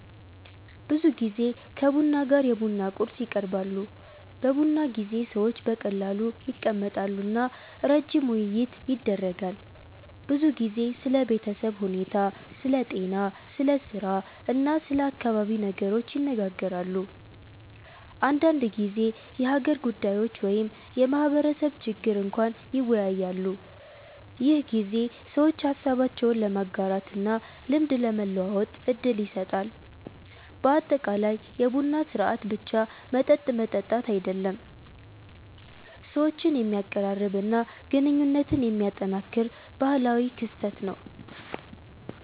ብዙ ጊዜ ከቡና ጋር የቡና ቁርስ ይቀርባሉ። በቡና ጊዜ ሰዎች በቀላሉ ይቀመጣሉ እና ረጅም ውይይት ይደረጋል። ብዙ ጊዜ ስለ ቤተሰብ ሁኔታ፣ ስለ ጤና፣ ስለ ስራ እና ስለ አካባቢ ነገሮች ይነጋገራሉ። አንዳንድ ጊዜ የሀገር ጉዳዮች ወይም የማህበረሰብ ችግር እንኳን ይወያያሉ። ይህ ጊዜ ሰዎች ሀሳባቸውን ለመጋራት እና ልምድ ለመለዋወጥ እድል ይሰጣል። በአጠቃላይ የቡና ሥርዓት ብቻ መጠጥ መጠጣት አይደለም፣ ሰዎችን የሚያቀራርብ እና ግንኙነት የሚያጠናክር ባህላዊ ክስተት ነው።